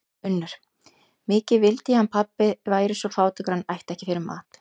UNNUR: Mikið vildi ég hann pabbi væri svo fátækur að hann ætti ekki fyrir mat.